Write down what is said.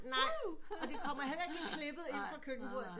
Nej og det kommer heller ikke klippet ind på køkkenbordet